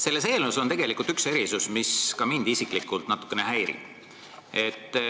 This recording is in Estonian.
Selles eelnõus on üks erisus, mis ka mind isiklikult natukene häirib.